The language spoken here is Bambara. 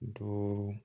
Duuru